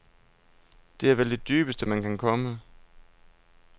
Det er vel det dybeste, man kan komme.